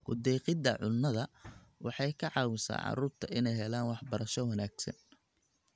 Ku-deeqidda cunnada waxay ka caawisaa carruurta inay helaan waxbarasho wanaagsan.